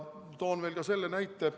Toon veel ka selle näite.